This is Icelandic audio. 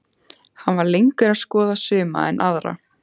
Hann var lengur að skoða suma en aðra.